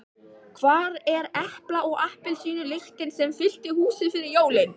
Hvar er epla- og appelsínulyktin sem fyllti húsið fyrir jólin?